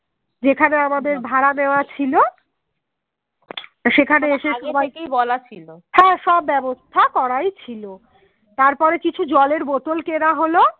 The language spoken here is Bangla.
হ্যাঁ সব ব্যবস্থা করাই ছিল তারপরে কিছু জলের বোতল কেনা হলো